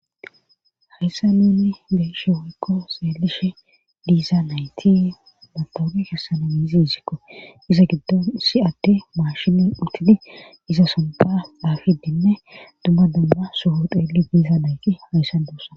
Hayssa nunni be'she woykko xeelishe diiza nayti matowuqe kessana gizi izikko iza giddon si atte maashinne utidi iza sontha xafidinne dumma damba soho xeeli diiza dayki hayssan duussa